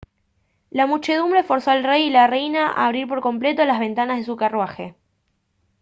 la muchedumbre forzó al rey y la reina a abrir por completo las ventanas de su carruaje